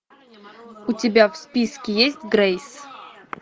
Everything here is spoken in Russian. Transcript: у тебя в списке есть грейс